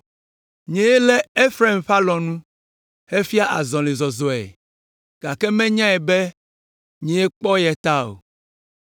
Nyee lé Efraim ƒe alɔnu hefia azɔlizɔzɔe, gake menyae be nyee kpɔ ye ta o.